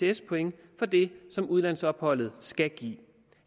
ects point for det som udlandsopholdet skal give